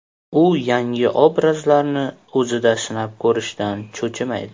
U yangi obrazlarni o‘zida sinab ko‘rishdan cho‘chimaydi.